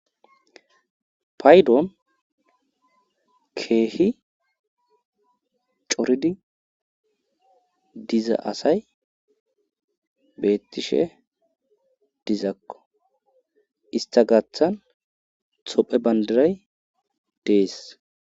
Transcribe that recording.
paydon keehi coridi diza asay beettishe dizakko ista gathan tophey bandiray dees